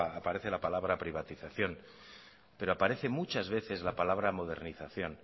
aparece la palabra privatización pero aparece muchas veces la palabra modernización